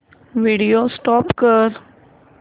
video stop कर